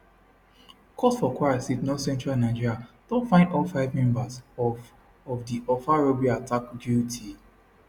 court for kwara state northcentral nigeria don find all five members of of di offa robbery attack guilty